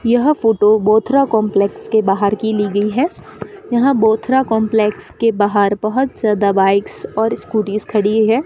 यह photo Bothra complex के बाहर की ली गई है यहां बोथरा कंपलेक्स के बाहर बहोत ज्यादा बाइक्स और स्कूटीज खड़ी है।